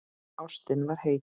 Ástin var heit.